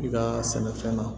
I ka sɛnɛfɛn na